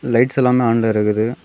Lights எல்லாமே ஆன்ல இருக்குது.